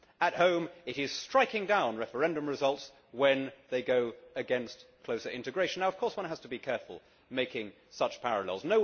At home it is striking down referendum results when they go against closer integration. Now of course, one has to be careful making such parallels.